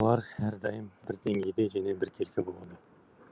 олар әрдайым бір деңгейде және біркелкі болады